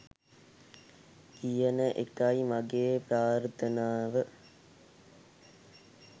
කියන එකයි මගේ ප්‍රාර්ථනාව.